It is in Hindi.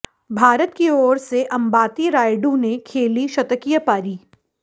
भारत की ओर से अंबाती रायडू ने खेली शतकीय पारी